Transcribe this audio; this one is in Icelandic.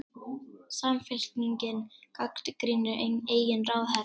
Samfylkingin gagnrýnir eigin ráðherra